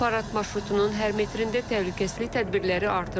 Parad marşrutunun hər metrində təhlükəsizlik tədbirləri artırılıb.